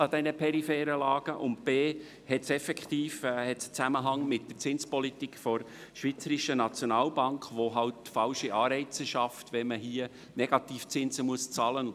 Zudem hat sie einen Zusammenhang mit der Zinspolitik der Schweizerischen Nationalbank (SNB), die falsche Anreize schafft, wenn man Negativzinsen bezahlen muss.